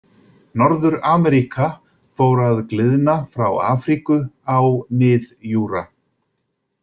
Norður-Ameríka fór að gliðna frá Afríku á mið-júra.